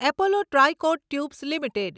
Apollo Tricoat tubes limited